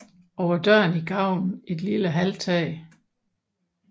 Over døren i gavlen et lille halvtag